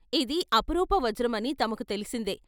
ఇది అపురూప వజ్ర మని తమకు తెలిసిందే.